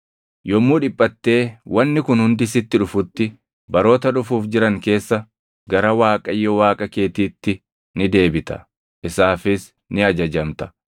Yommuu dhiphattee wanni kun hundi sitti dhufutti, baroota dhufuuf jiran keessa gara Waaqayyo Waaqa keetiitti ni deebita; isaafis ni ajajamta.